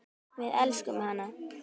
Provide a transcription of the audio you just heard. Við elskum hana.